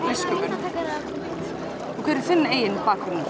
listsköpun og hver er þinn eigin bakgrunnur